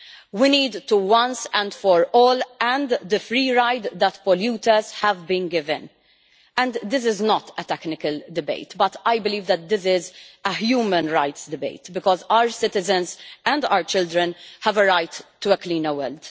We need to end once and for all the free ride that polluters have been given. This is not a technical debate but I believe that this is a human rights debate because our citizens and our children have a right to a cleaner world.